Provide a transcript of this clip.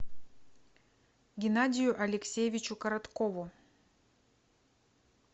геннадию алексеевичу короткову